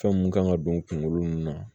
Fɛn mun kan ka don kungolo nunnu na